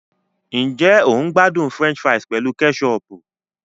Ǹjẹ́ o n gbádùn French fries pẹ̀lú kẹ́sọọ̀pù